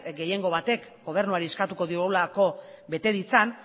gehiengo batek gobernuari eskatuko diolako bete ditzan